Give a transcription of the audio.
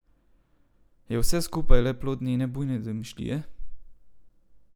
Je vse skupaj le plod njene bujne domišljije?